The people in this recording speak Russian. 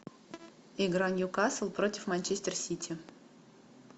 игра ньюкасл против манчестер сити